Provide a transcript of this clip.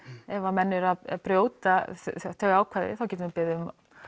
ef að menn eru að brjóta þau ákvæði þá getum við beðið um